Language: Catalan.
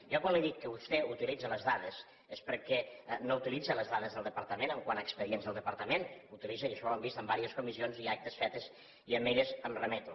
jo quan li dic que vostè utilitze les dades és perquè no utilitza les dades del departament quant a expedients del departament i això ho hem vist en diverses comissions i actes fetes i a elles em remeto